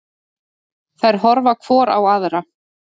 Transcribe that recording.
Þær horfa hvor á aðra.